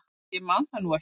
Ég man það nú ekki.